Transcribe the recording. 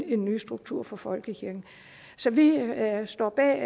en ny struktur for folkekirken så vi står bag